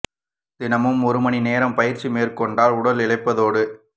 தினமும் ஒரு மணி நேரம் பயிற்சி மேற்கொண்டால் உடல் இளைப்பதோடு